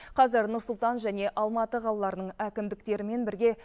қазір нұр сұлтан және алматы қалаларының әкімдіктерімен бірге